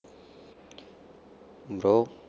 bro